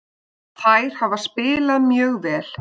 Þær hafa spilað mjög vel.